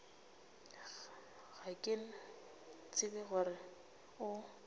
ga ke tsebe gore o